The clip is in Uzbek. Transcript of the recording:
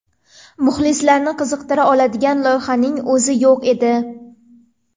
Muxlislarni qiziqtira oladigan loyihaning o‘zi yo‘q edi.